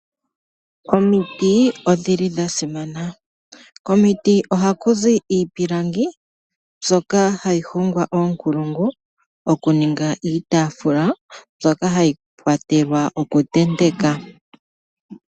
Omiti odhili dha simana komiti ohaku zi iipilangi mbyoka hayi hongwa koonkulungu okuninga iitafula mbyoka hayi kwatelwa okutentekwa.